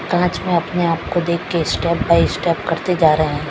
कांच मैं अपने आप को देख के स्टेप बाय स्टेप करते जा रहे हैं।